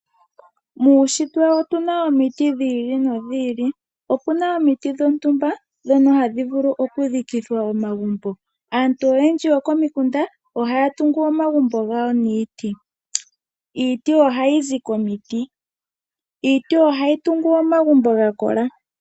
Muushitwe otu na omiti dhi ili nodhi ili. Opu na omiti dhontumba ndhono hadhi vulu okudhikithwa omagumbo. Aantu oyendji yokomikunda ohaya tungu omagumbo gawo niiti. Iiti ohayi zi komiti. Iiti ohayi tungu omagumbo ga kola.